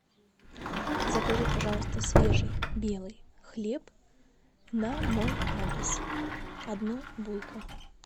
закажи пожалуйста свежий белый хлеб на мой адрес одну булку